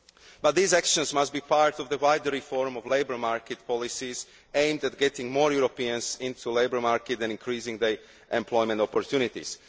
But these actions must be part of the wider reform of labour market policies aimed at getting more Europeans on to the labour market and increasing their employment opportunities.